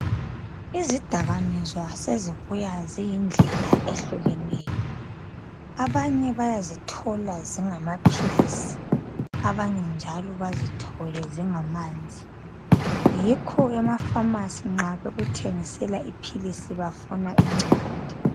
Izidakamizwa sezibuya ziyindlela ehlukeneyo. Abanye bayizithola zingamaphilisi abanye njalo bazithole zingamanzi yikho ke amafamasizi nxa bekuthengisela iphilisi bafuna incwadi.